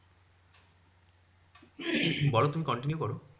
বলো তুমি continue করো।